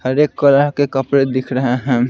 हर एक कलर के कपड़े दिख रहे हैं।